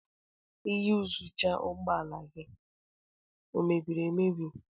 Iyuzucha ụgbọ ala gị ọ mebiri emebi?